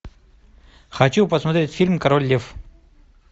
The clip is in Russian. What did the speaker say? хочу посмотреть фильм король лев